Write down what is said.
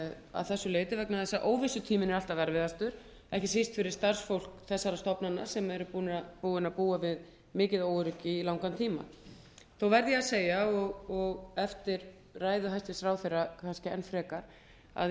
að þessu leyti vegna þess að óvissutíminn er alltaf erfiðastur ekki síst fyrir starfsfólk þessara stofnana sem eru búnir að búa við mikið óöryggi í langan tíma þó verð ég að segja og eftir ræðu hæstvirts ráðherra kannski enn frekar að í